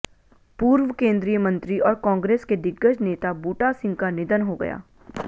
पूर्व केंद्रीय मंत्री और कांग्रेस के दिग्गज नेता बूटा सिंह का निधन हो गया